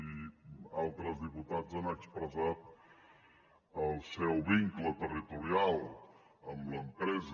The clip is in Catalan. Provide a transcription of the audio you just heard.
i altres diputats han expressat el seu vincle territorial amb l’empresa